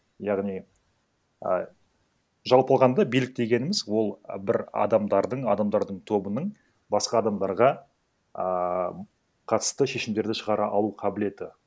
яғни ы жалпы алғанда билік дегеніміз ол бір адамдардың адамдардың тобының басқа адамдарға ааа қатысты шешімдерді шығара алу қабілеті